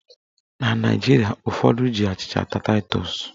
Na Naijiria, ụfọdụ ji achịcha ata taịtọs.